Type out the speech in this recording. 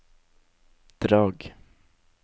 Drag